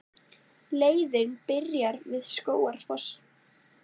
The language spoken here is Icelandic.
Leiðin byrjar við Skógafoss.